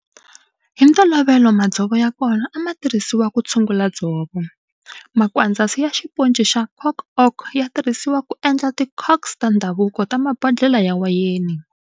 Hi ntolovelo madzovo ya kona a ma tirhisiwa ku tshungula dzovo. Makwandzasi ya xiponci ya cork oak ya tirhisiwa ku endla ti corks ta ndhavuko ta mabodlhela ya wayeni.